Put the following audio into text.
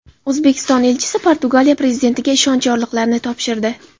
O‘zbekiston elchisi Portugaliya prezidentiga ishonch yorliqlarini topshirdi.